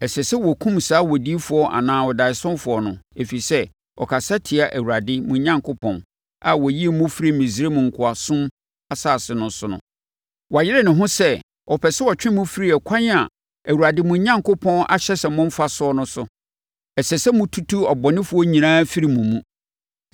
Ɛsɛ sɛ wɔkum saa odiyifoɔ anaa ɔdaeɛsofoɔ no, ɛfiri sɛ, ɔkasa tia Awurade, mo Onyankopɔn, a ɔyii mo firii Misraim nkoasom asase no so no; wayere ne ho sɛ ɔpɛ sɛ ɔtwe mo firi ɛkwan a Awurade, mo Onyankopɔn, ahyɛ sɛ momfa so no so. Ɛsɛ sɛ motutu abɔnefoɔ nyinaa firi mo mu.